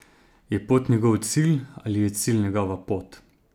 Je pot njegov cilj ali je cilj njegova pot?